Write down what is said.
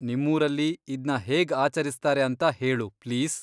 ನಿಮ್ಮೂರಲ್ಲಿ ಇದ್ನ ಹೇಗ್ ಆಚರಿಸ್ತಾರೆ ಅಂತ ಹೇಳು ಪ್ಲೀಸ್.